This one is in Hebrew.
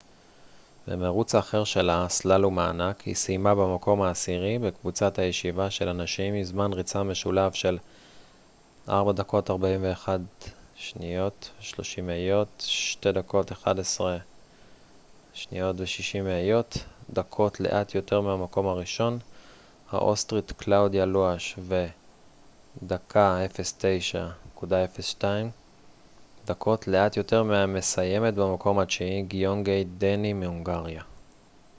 במירוץ האחר שלה הסלאלום הענק היא סיימה במקום העשירי בקבוצת הישיבה של הנשים עם זמן ריצה משולב של 4:41.30 2:11.60 דקות לאט יותר מהמקום הראשון האוסטרית קלאודיה לואש ו-1:09.02 דקות לאט יותר מהמסיימת במקום התשיעי גיונגיי דני מהונגריה